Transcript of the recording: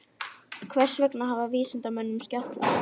Hvers vegna hafði vísindamönnunum skjátlast?